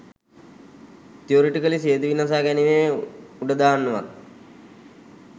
theoretically සියදිවි නසාගැනීම් උඩදාන්න වත්